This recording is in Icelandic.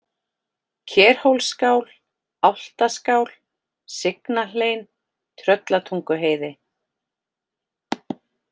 Kerhólsskál, Álftaskál, Sygnahlein, Tröllatunguheiði